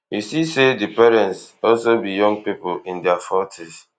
you see say di parents also be young pipo in dia fortys